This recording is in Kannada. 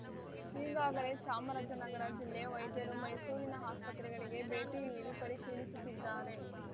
ಈಗಾಗಲೇ ಚಾಮರಾಜನಗರ ಜಿಲ್ಲೆ ವೈದ್ಯರು ಮೈಸೂರಿನ ಆಸ್ಪತ್ರೆಗಳಿಗೆ ಭೇಟಿನೀಡಿ ಪರಿಶೀಲಿಸುತ್ತಿದ್ದಾರೆ